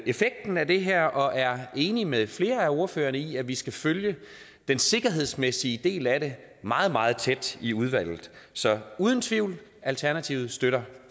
effekten af det her og er enig med flere af ordførerne i at vi skal følge den sikkerhedsmæssige del af det meget meget tæt i udvalget så uden tvivl alternativet støtter